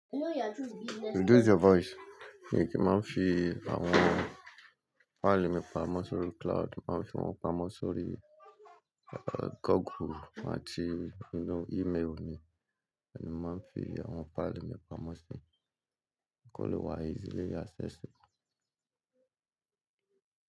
Reduce your voice. Èmi kí n máa ń fi àwọn fáìlì mi pamọ́ sórí cloud. Mo màá ń fi wọ́n pamọ́ sórí Google àti ínú email mi. Ibẹ̀ ni mo màá ń fi àwọn paali mi pamọ́ sí i kó lè wá easily accessible.